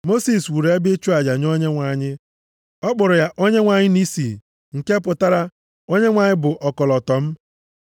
Mosis wuru ebe ịchụ aja nye Onyenwe anyị. Ọ kpọrọ ya Onyenwe anyị Nisi, nke pụtara, Onyenwe anyị bụ ọkọlọtọ m.